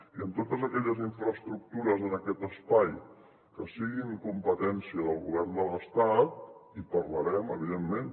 i per a totes aquelles infraestructures en aquest espai que siguin competència del govern de l’estat hi parlarem evidentment